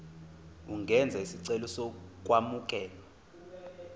ungenza isicelo sokwamukelwa